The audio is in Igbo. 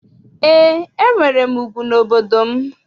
Eé, enwere m ugwu n'obodo gị.